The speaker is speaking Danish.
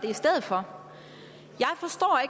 i stedet for